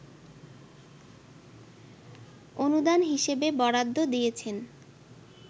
অনুদান হিসেবে বরাদ্দ দিয়েছেন